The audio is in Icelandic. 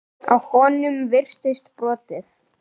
Á honum virtist brotið.